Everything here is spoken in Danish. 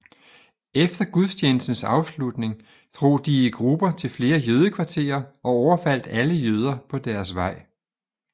Efter gudstjenestens afslutning drog de i grupper til flere jødekvarterer og overfaldt alle jøder på deres vej